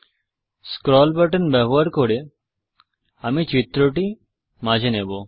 scroll button ব্যবহার করে আমি চিত্রটি মাঝে নেবো